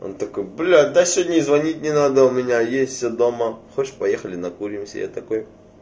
он такой блять да сегодня и звонить не надо у меня есть дома хочешь поехали накуримся я такой